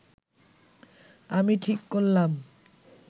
আমি ঠিক করলাম